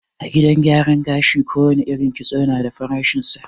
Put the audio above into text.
A gidan gyaran gashi ko wane irin kitso na da farashin sa